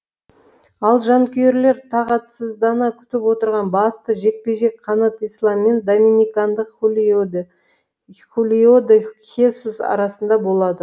ал жанкүйерлер тағатсыздана күтіп отырған басты жекпе жек қанат ислам мен доминикандық хулиоде хесус арасында болады